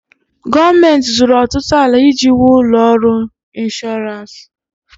Gọọmenti zụrụ ọtụtụ ala iji wuo ụlọ ọrụ ịnshọransị.